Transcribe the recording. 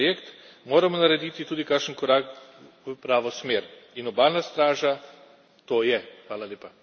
Če resnično verjamemo v evropski projekt, moramo narediti tudi kakšen korak v pravo smer in obalna straža to je.